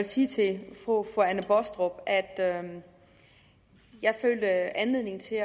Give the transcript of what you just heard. sige til fru anne baastrup at at jeg følte anledning til